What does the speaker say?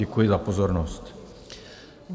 Děkuji za pozornost.